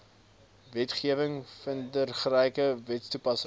wetgewing vindingryke wetstoepassing